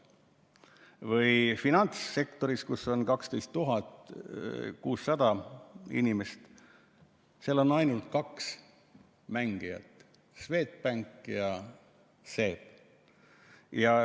Või finantssektor, kus on 12 600 inimest, seal on ainult kaks mängijat, Swedbank ja SEB.